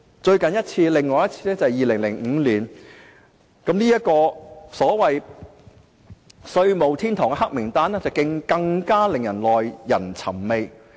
香港另一次處於這危機是2015年，這個所謂"避稅天堂"的黑名單更是耐人尋味。